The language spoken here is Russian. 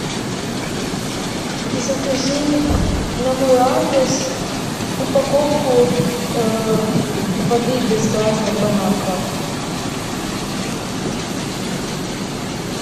закажи на мой адрес упаковку воды без газа бон аква